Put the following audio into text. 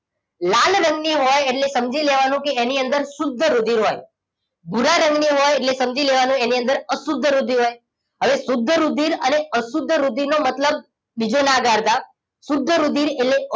લાલ રંગની હોય એટલે સમજી લેવાનું કે એની અંદર શુદ્ધ રુધિર હોય ભૂરા રંગ ની હોય હોય એટલે સમજી લેવાનું એની અંદર અશુદ્ધ રુધિર હોય હવે શુદ્ધ રુધિર અને અશુદ્ધ રુધિર નો મતલબ બીજો ના કાઢતા શુદ્ધ રુધિર એટલે